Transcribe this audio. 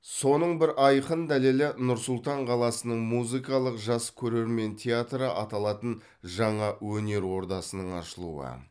соның бір аиқын дәлелі нұр сұлтан қаласының музыкалық жас көрермен театры аталатын жаңа өнер ордасының ашылуы